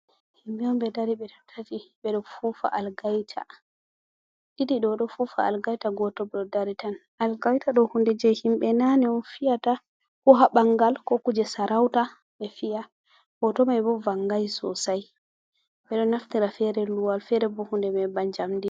Himɓɓe on ɓe dari ɓe tati ɓedo fufa algaita, ɗiɗi ɗo, ɗo fufa algaita, goto bo ɗo dari tan. Algaita ɗo hunde je himɓɓe nane on fiyata ko ha bangal, ko kuje sarauta ɓe fiya, hoto mai ɓo vangai sosai, ɓeɗo naftira fere luwal fere bo hunde mai ban jamɗi.